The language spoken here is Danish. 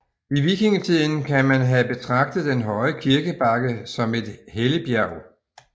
I vikingetiden kan man have betragtet den høje kirkebakke som et helligbjerg